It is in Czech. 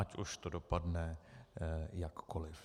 Ať už to dopadne jakkoliv.